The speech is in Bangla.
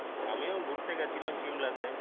আমিও ঘুরতে গেছিলাম সিমলাতে